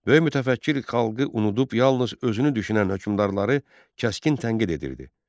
Böyük mütəfəkkir xalqı unudub yalnız özünü düşünən hökmdarları kəskin tənqid edirdi.